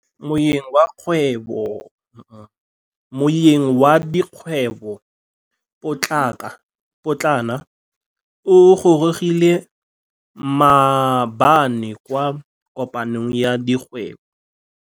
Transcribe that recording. Moêng wa dikgwêbô pôtlana o gorogile maabane kwa kopanong ya dikgwêbô.